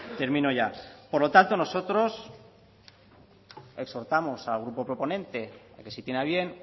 termino ya por lo tanto nosotros exhortamos al grupo proponente a que si tiene a bien